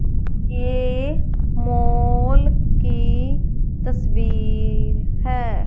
ये मॉल की तस्वीर है।